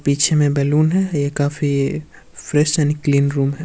पीछे में बलून है ये काफी फ्रेश एंड क्लीन रूम है।